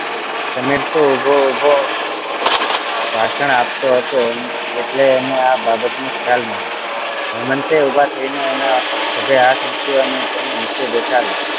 સમીર તો ઉભો ઉભો ભાષણ આપતો હતો એટલે એને આ બાબત નો ખ્યાલ ના રહ્યો હેમંતે ઉભા થઇ ને એનાં ખભે હાથ મુક્યો અને તેને નીચે બેસાડ્યો